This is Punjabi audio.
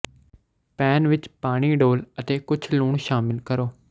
ਪੈਨ ਵਿੱਚ ਪਾਣੀ ਡੋਲ੍ਹ ਅਤੇ ਕੁਝ ਲੂਣ ਸ਼ਾਮਿਲ ਕਰੋ